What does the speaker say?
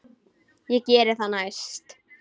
Ég geri það næst.